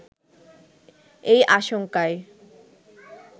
এই আশঙ্কায়